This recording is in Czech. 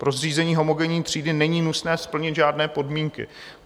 Pro zřízení homogenní třídy není nutné splnit žádné podmínky.